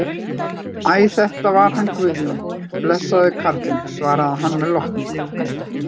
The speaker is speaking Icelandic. Æ, þetta var hann Guðjón, blessaður karlinn, svarar hann með lotningu.